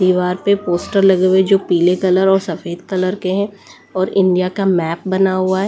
दीवार पे पोस्टर लगे हुए जो पीले कलर और सफेद कलर के हैं और इंडिया का मैप बना हुआ है।